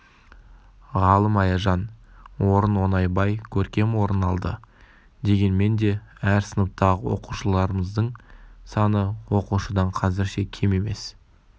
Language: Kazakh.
ғалым аяжан орын оңайбай көркем орын алды дегенменде әр сыныптағы оқушыларымыздың саны оқушыдан қазірше кем емес